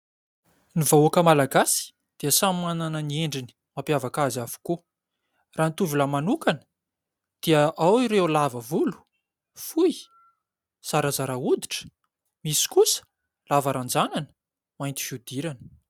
Ny vahoaka Malagasy dia samy manana ny endriny mampiavaka azy avokoa. Raha ny tovolahy manokana dia ao ireo lava volo, fohy, zarazara hoditra. Misy kosa lava ranjanana, mainty fihodirana.